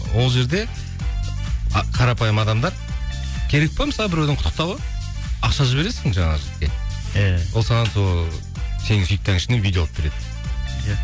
ол жерде а қарапайым адамдар керек пе мысалы біреудің құттықтауы ақша жібересің жаңағы жерге иә ол саған сол сенің сүйікті әншіңнен видео алып береді иә